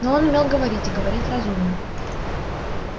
но он умел говорить и говорить разумно